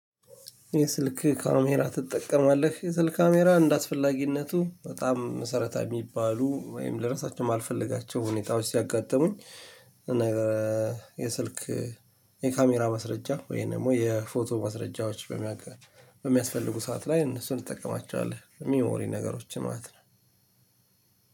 የስልክ ካሜራ ትጠቀማለህ የስልክ ካሜራ እንደአስፈላጊነቱ በጣም መሰረታዊ የሚባሉ ወይም ለረሳቸው የማልፈልጋቸው ሁኔታዎች ሲያጋጥሙኝ። የስልክ የካሜራ ማስረጃ ወይም ደግሞ የፎቶ ማስረጃዎች በሚያቀር በሚያስፈልጉ ሰዓት ላይ እነሱን እንጠቀማቸዋለን። ሚሞሪ ነገሮችን ማለት ነው።